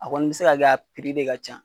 A kɔni bi se ka kɛ a piri be ka can